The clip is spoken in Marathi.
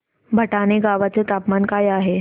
भटाणे गावाचे तापमान काय आहे